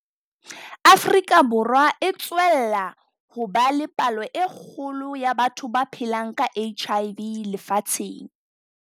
Afrika Borwa e tswella ho ba le palo e kgolo ya batho ba phelang ka HIV lefatsheng.